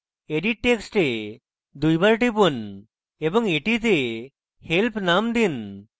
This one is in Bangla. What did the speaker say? edit text এ দুইবার টিপুন এবং এটিকে help নাম দিন